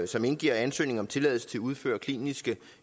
som indgiver ansøgning om tilladelse til at udføre kliniske